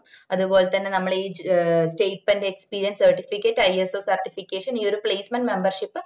അത് പോലെത്തന്നെ നമ്മള് ഈ ഏ stipentexperiencecertificateISOcertification ഈ ഒരു placementmemebership